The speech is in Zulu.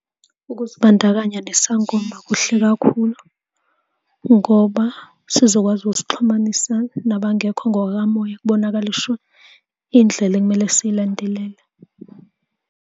Ukuzibandakanya nesangoma kuhle kakhulu ngoba sizokwazi ukusixhumanisa nabangekho ngokukamoya, kubonakalishwe indlela ekumele siyilandelele.